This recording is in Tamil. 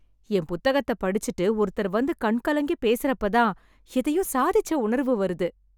என் புத்தகத்த படிச்சுட்டு ஒருத்தர் வந்து கண் கலங்கி பேசறப்ப தான் எதையோ சாதிச்ச உணர்வு வருது.